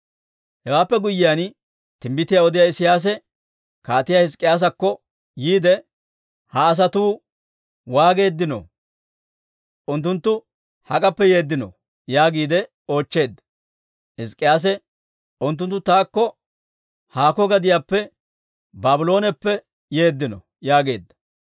Hewaappe guyyiyaan, timbbitiyaa odiyaa Isiyaasi Kaatiyaa Hizk'k'iyaasakko yiide, «Ha asatuu waageeddino? Unttunttu hak'appe yeeddino?» yaagiide oochcheedda. Hizk'k'iyaase, «Unttunttu taakko haakko gadiyaappe, Baablooneppe yeeddino» yaageedda.